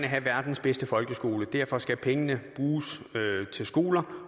have verdens bedste folkeskole derfor skal pengene til skoler